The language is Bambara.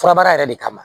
Furabaara yɛrɛ de kama